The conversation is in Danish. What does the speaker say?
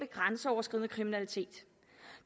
grænseoverskridende kriminalitet